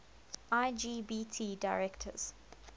lgbt directors